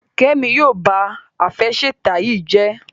Kemi yíò bá Àfẹsẹ̀tẹ̀ yí jé